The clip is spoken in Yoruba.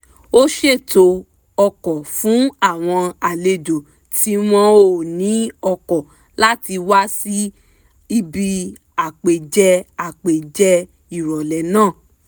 ó ṣètò ọkọ̀ fún àwọn àlejò tí wọ́n ò ní ọkọ̀ láti wá síbi àpèjẹ àpèjẹ ìrọ̀lẹ́ náà